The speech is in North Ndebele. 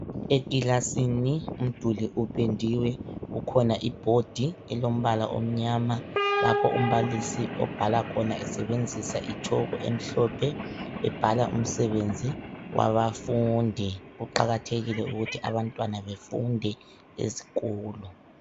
Ekilasini umduli upendiwe kukhona ibhodi elombala omnyama lapho umbalisi obhala khona esebenzisa itshoko emhlophe ebhala umsebenzi wabafundi, kuqakathekile ukuhti abantwana befunde ezikolo.